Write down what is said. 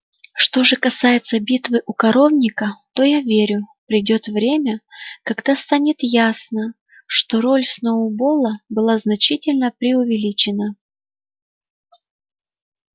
что же касается битвы у коровника то я верю придёт время когда станет ясно что роль сноуболла была значительно преувеличена